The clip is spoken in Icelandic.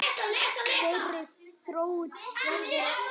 Þeirri þróun verður að snúa við